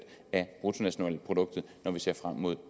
af bruttonationalproduktet når vi ser frem mod